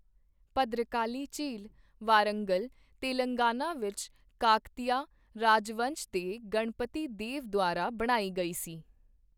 ਭਦ੍ਰਕਾਲੀ ਝੀਲ, ਵਾਰੰਗਲ, ਤੇਲੰਗਾਨਾ ਵਿੱਚ ਕਾਕਤੀਆ ਰਾਜਵੰਸ਼ ਦੇ ਗਣਪਤੀ ਦੇਵ ਦੁਆਰਾ ਬਣਾਈ ਗਈ ਸੀ।